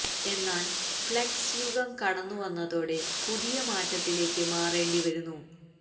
എന്നാൽ ഫ്ളെക്സ് യുഗം കടന്നു വന്നതോടെ പുതിയ മാറ്റത്തിലേക്ക് മാറേണ്ടി വരുന്നു